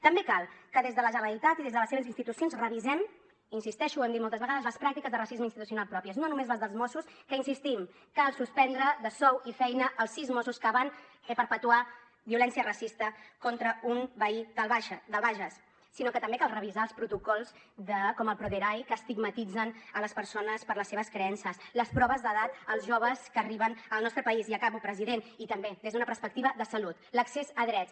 també cal que des de la generalitat i des de les seves institucions revisem hi insisteixo ho hem dit moltes vegades les pràctiques de racisme institucional pròpies no només les dels mossos que hi insistim cal suspendre de sou i feina els sis mossos que van perpetrar violència racista contra un veí del bages sinó que també cal revisar els protocols com el proderai que estigmatitzen les persones per les seves creences les proves d’edat als joves que arriben al nostre país i acabo president i també des d’una perspectiva de salut l’accés a drets